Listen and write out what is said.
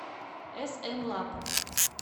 смлаб